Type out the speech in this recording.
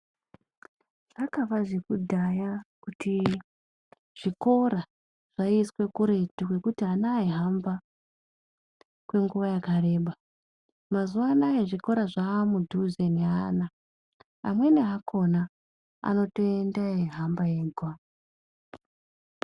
Zvakava zvekudhaya kuti zvikora zvaiiswa kuretu kuti ana aihamba kenguwa yakareba mazuwa anaya zvaamudhuze neana amweni akona anotoenda eihamba ega .